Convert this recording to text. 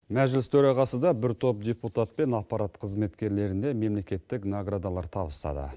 мәжіліс төрағасыда бір топ депутат пен аппарат қызметкерлеріне мемлекеттік наградалар табыстады